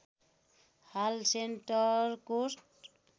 हाल सेन्ट्रल कोष्ट